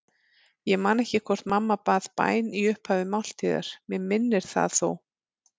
Ég man ekki hvort mamma bað bæn í upphafi máltíðar, mig minnir það þó.